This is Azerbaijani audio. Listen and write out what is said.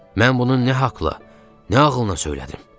Mən bunun nə haqla, nə ağılına söylədim?